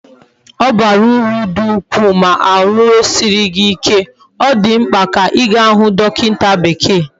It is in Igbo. Obara uru di ukwu ma ahu riasie gi ike, odimkpa di ka iga hu dokinta bekee